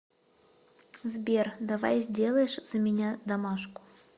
сбер давай сделаешь за меня домашку